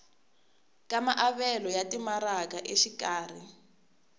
ka maavelo ya timaraka exikarhi